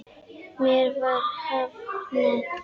Mér var hafnað.